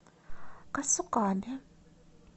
касукабе